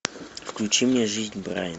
включи мне жизнь брайена